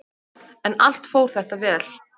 En allt fór þetta vel.